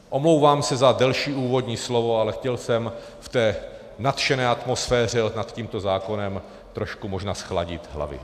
Omlouvám se za delší úvodní slovo, ale chtěl jsem v té nadšené atmosféře nad tímto zákonem trošku možná zchladit hlavy.